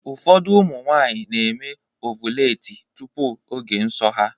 Ụfọdụ ụmụ nwaanyị na-eme ọvụletị tupu oge nsọ ha.